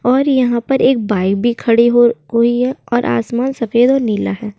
और यहाँ पर एक भी खड़ी हुई है और आसमान सफ़ेद और नीला है।